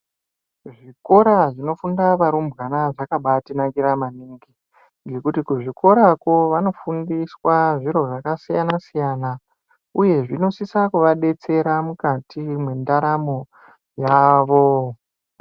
Zvikora zvinofunda arumbwana zvakatinakira maningi ngekuti kuzvikorako vanofundiswa zviro zvakasiyanasiyana uye zvinosisa kuvadetsera mukati mwendaramo yavo.